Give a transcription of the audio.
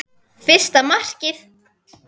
Fyrsta markið?